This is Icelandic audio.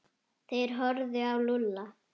Þeir horfðu á Lúlla.